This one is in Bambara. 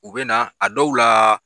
U bɛ na a dɔw la.